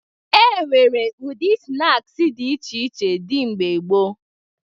E nwere ụdị snaakị dị iche iche dị mgbe gboo